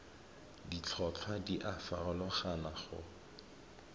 ditlhotlhwa di a farologana go